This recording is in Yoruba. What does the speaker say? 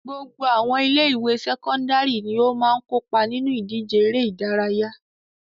Gbogbo àwọn ilé-ìwé sẹ́kọ́ndárì ni ó máa ń kópa nínú ìdíje eré-idárayá.